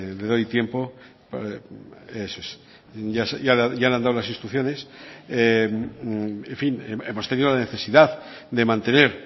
le doy tiempo eso es ya le han dado las instrucciones en fin hemos tenido la necesidad de mantener